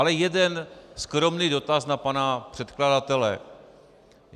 Ale jeden skromný dotaz na pana předkladatele.